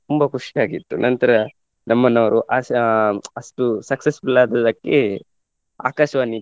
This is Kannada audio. ತುಂಬಾ ಖುಷಿಯಾಗಿತ್ತು ನಂತರ ನಮ್ಮನ್ನು ಅವರು ಆಶಾ~ ಅಷ್ಟು successful ಆದದಕ್ಕೆ ಆಕಾಶವಾಣಿ